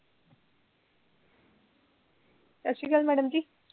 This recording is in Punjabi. ਸਸਰੀਕਾਲ madam ਜੀ